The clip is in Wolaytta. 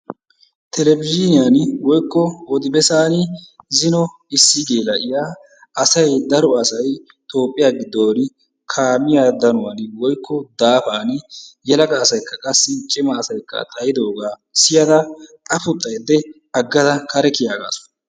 Telebizhiiniyani/Odi bessaani zino issi geela'iya asay daro asay Toophphiya giddooni kaamiya danuwani/daafani yelaga asaykka qassi cima asaykka xayidoogaa siyada afuxxayidde aggada. kare kiyaagaasu.